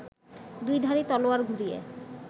দুইধারী তলোয়ার ঘুরিয়ে